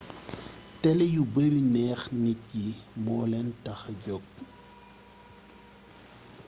télé yu bari neex nit yi moolén taxa jóg